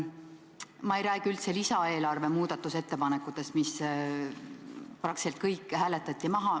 Ma ei räägi üldse lisaeelarve muudatusettepanekutest, mis praktiliselt kõik hääletati maha.